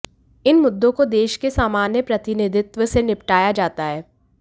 इन मुद्दों को देश के सामान्य प्रतिनिधित्व से निपटाया जाता है